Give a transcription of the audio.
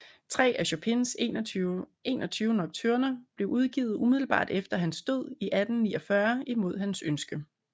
Tre af Chopins 21 Nocturner blev udgivet umiddelbart efter hans død i 1849 imod hans ønske